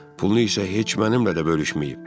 Pulunu isə heç mənimlə də bölüşməyib.